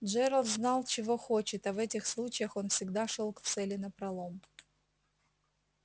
джералд знал чего хочет а в этих случаях он всегда шёл к цели напролом